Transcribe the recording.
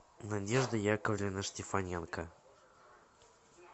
надежда яковлевна штефаненко